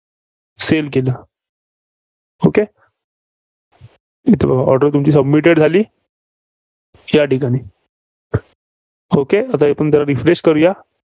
Sale केलं. okay इथे बघा, order तुमची submitted झाली. या ठिकाणी. okay आता जरा refresh करूया